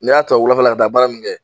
N'i y'a ta o wulafɛla ka baara nunnu kɛ